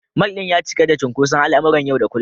Mall ɗin ya cika da cunkoson al’amuran yau da kullum.